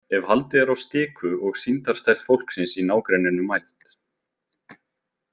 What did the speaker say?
Ef haldið er á stiku og sýndarstærð fólksins í nágrenninu mæld.